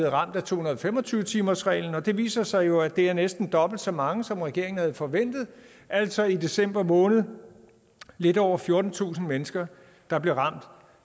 ramt af to hundrede og fem og tyve timersreglen og det viser sig jo at det næsten er dobbelt så mange som regeringen havde forventet altså i december måned lidt over fjortentusind mennesker der blev ramt